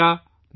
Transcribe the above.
نمسکار !